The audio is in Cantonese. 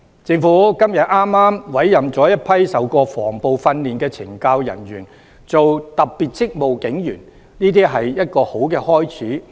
政府今天委任了一批曾接受防暴訓練的懲教人員擔任特別職務警察，這是一個好開始。